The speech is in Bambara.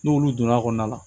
N'olu donna a kɔnɔna la